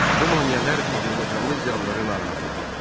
Bu maneələr azərbaycanlı ziyalıları narahat edirdi.